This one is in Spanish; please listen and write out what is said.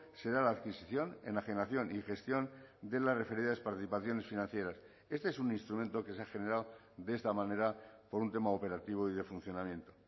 será la adquisición enajenación y gestión de las referidas participaciones financieras este es un instrumento que se ha generado de esta manera por un tema operativo y de funcionamiento